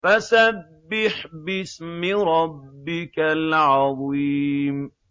فَسَبِّحْ بِاسْمِ رَبِّكَ الْعَظِيمِ